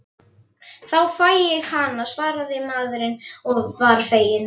Þá fæ ég hana, svaraði maðurinn og var feginn.